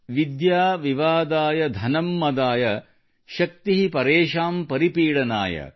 ವಿದ್ಯಾ ವಿವಾದಾಯ ಧನಂ ಮದಾಯ ಶಕ್ತಿಹಿ ಪರೆಷಾನ್ ಪರಿಪೀಡನಾಯ